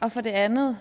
og for det andet